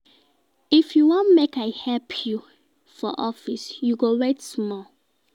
If you wan make I help you for office, you go wait small.